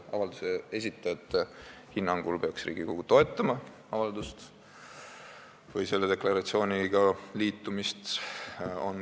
Avalduse esitajate hinnangul peaks Riigikogu selle deklaratsiooniga liitumist toetama.